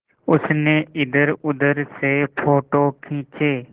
उसने इधरउधर से फ़ोटो खींचे